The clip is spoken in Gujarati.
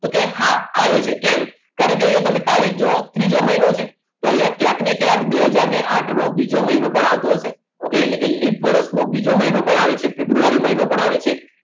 તો કે હા આવે છે કેમ કારણ કે અહીંયા તમે તારીખ જોવા ત્રીજો મહિનો છે તો અહીંયા ક્યાંક ને ક્યાંક બે હાજર ને આઠ નો ત્રીજો મહિનો પણ આવતો હશે okay એટલે કે લિપ વર્ષમાં બીજો મહિનો પણ આવે છે અને ફેબ્રુઆરી મહિનો પણ આવે છે.